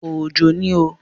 Òjò ni o.